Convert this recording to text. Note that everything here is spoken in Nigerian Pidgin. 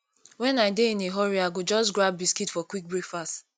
when i dey in a hurry i go just grab biscuit for quick breakfast